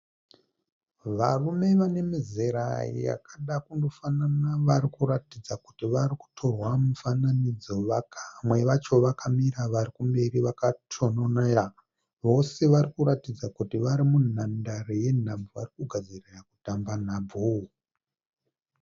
Varume vane mizera yakada kundofanana vari kuratidza kuti vari kutorwa mufananidzo. Vamwe vacho vakamira vari mberi vakatononera. Vose vari kutaridza kuti vari munhandare yenhabvu vari kugadzirira kutamba nhabvu.